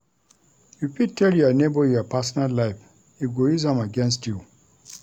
You fit tell your nebor your personal life, e go use am against you.